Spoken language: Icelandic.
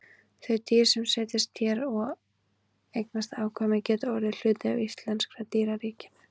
Þau dýr sem setjast hér að og eignast afkvæmi geta orðið hluti af íslenska dýraríkinu.